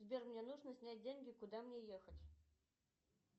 сбер мне нужно снять деньги куда мне ехать